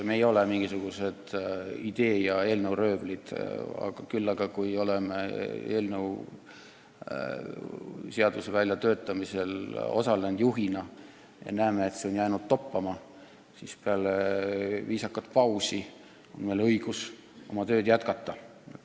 Me ei ole mingisugused idee- ja eelnõuröövlid, aga kui oleme eelnõu väljatöötamisel juhina osalenud ja näeme, et see on jäänud toppama, siis peale viisakat pausi on meil õigus oma tööd jätkata.